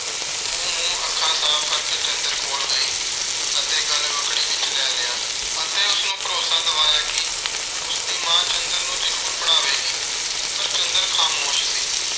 ਉਹ ਮੂੰਹ-ਅੱਖਾਂ ਸਾਫ਼ ਕਰਕੇ ਚੰਦਰ ਕੋਲ ਗਈ ਅਤੇ ਗਲਵੱਕੜੀ ਵਿੱਚ ਲੈ ਲਿਆ ਅਤੇ ਉਸਨੂੰ ਭਰੋਸਾ ਦਿਵਾਇਆ ਕਿ ਉਸਦੀ ਮਾਂ ਚੰਦਰ ਨੂੰ ਜ਼ਰੂਰ ਪੜ੍ਹਾਵੇਗੀ। ਪਰ ਚੰਦਰ ਖਾਮੋਸ਼ ਸੀ।